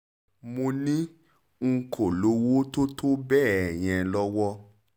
mo ní n kò lówó tó tó bẹ́ẹ̀ yẹn lọ́wọ́